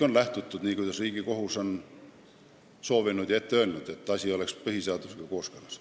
On lähtutud Riigikohtu soovist, et kõik oleks põhiseadusega kooskõlas.